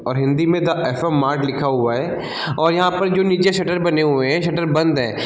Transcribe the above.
और हिंदी में the FM. Mart लिखा हुआ है और यहाँ पर जो नीचे शटर बने हुए हैं शटर बंद है।